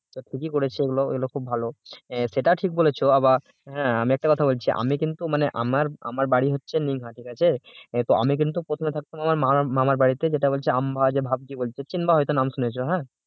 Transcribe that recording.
তো ঠিকই করেছে এগুলো এগুলো খুব ভালো সেটা ঠিক বলেছ আবার আমি একটা কথা বলছি আমি কিন্তু মানে আমার আমার বাড়ি হচ্ছে ঠিক আছে তো আমি কিন্তু প্রথমে থাকতাম আমার মামার বাড়িতে যেটা হচ্ছে আম বাগান চিনবা হয়তো নাম শুনেছ হে